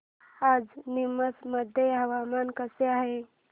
आज नीमच मध्ये हवामान कसे आहे